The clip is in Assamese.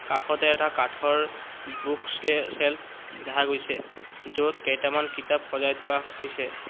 কাষতে এটা কাঠৰ বুক চে চেলফ দেখা গৈছে য'ত কেইটামান কিতাপ সজাই থোৱা হৈছে।